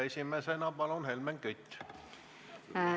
Esimesena palun Helmen Kütt!